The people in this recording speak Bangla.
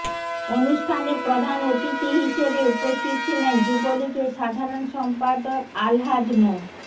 অনুষ্ঠানে প্রধান অতিথি হিসেবে উপস্থিত ছিলেন যুবলীগের সাধারণ সম্পাদক আলহাজ মো